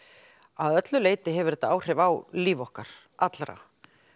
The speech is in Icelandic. að öllu leyti hefur þetta áhrif á líf okkar allra